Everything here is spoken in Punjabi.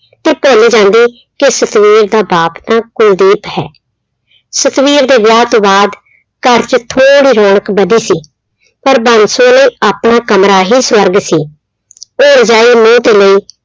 ਤੇ ਭੁੱਲ ਜਾਂਦੀ ਕਿ ਸਤਵੀਰ ਦਾ ਬਾਪ ਤਾਂ ਕੁਲਦੀਪ ਹੈ, ਸਤਵੀਰ ਦੇ ਵਿਆਹ ਤੋਂ ਬਾਅਦ ਘਰ 'ਚ ਥੋੜ੍ਹੀ ਰੌਣਕ ਵਧੀ ਸੀ, ਪਰ ਬਾਂਸੋ ਲਈ ਆਪਣਾ ਕਮਰਾ ਹੀ ਸਵਰਗ ਸੀ, ਉਹ ਰਜਾਈ ਮੂੰਹ ਤੇ ਲਈ